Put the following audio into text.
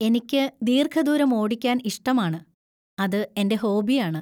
എനിക്ക് ദീർഘദൂരം ഓടിക്കാൻ ഇഷ്ടമാണ്, അത് എന്‍റെ ഹോബിയാണ്.